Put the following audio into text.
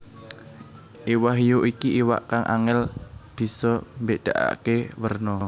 Iwak hiu iki iwak kang angèl bisa mbédakaké werna